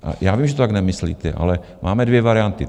Já vím, že to tak nemyslíte, ale máme dvě varianty.